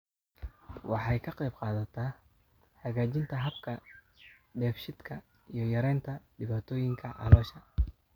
Waxay ka qaybqaadataa hagaajinta habka dheef-shiidka iyo yaraynta dhibaatooyinka caloosha.